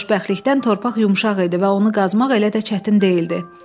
Xoşbəxtlikdən torpaq yumşaq idi və onu qazmaq elə də çətin deyildi.